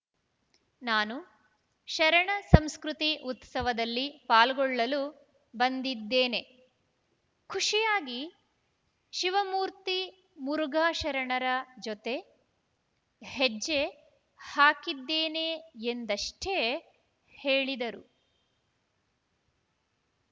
ನಾನು ಶರಣ ಸಂಸ್ಕೃತಿ ಉತ್ಸವದಲ್ಲಿ ಪಾಲ್ಗೊಳ್ಳಲು ಬಂದಿದ್ದೇನೆ ಖುಷಿಯಾಗಿ ಶಿವಮೂರ್ತಿ ಮುರುಘಾಶರಣರ ಜೊತೆ ಹೆಜ್ಜೆ ಹಾಕಿದ್ದೇನೆ ಎಂದಷ್ಟೇ ಹೇಳಿದರು